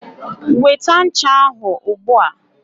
Weta ncha ahụ ugbua.